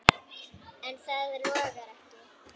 En það logaði ekki.